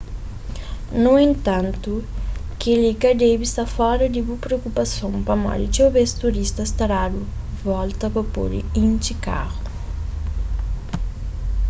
nu entantu kel-li ka debe sta fora di bu priokupason pamodi txeu bês turistas ta dadu volta pa pode intxi karu